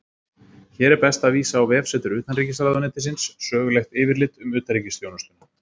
Hér er best að vísa á vefsetur Utanríkisráðuneytisins Sögulegt yfirlit um utanríkisþjónustuna.